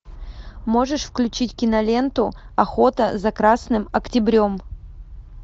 можешь включить киноленту охота за красным октябрем